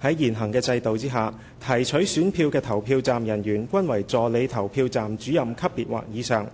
在現行的制度下，提取選票的投票站人員均為助理投票站主任級別或以上，